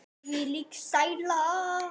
Þvílík sæla.